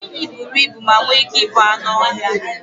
Enyí buru ibu ma nwee ike ịbụ anụ ọhịa